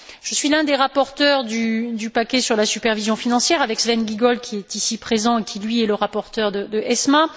Je suis un des rapporteurs du paquet sur la supervision financière, avec Sven Giegold, qui est ici présent et qui est le rapporteur d'ESMA.